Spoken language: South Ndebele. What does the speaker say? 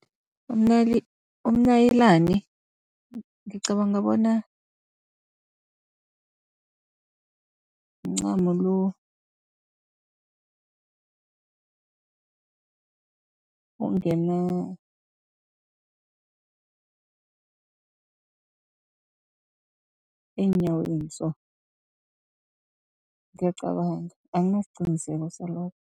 umnayilani ngicabanga bona, mncamo lo ongena eenyaweni so, ngiyacabanga anginasiqiniseko salokho.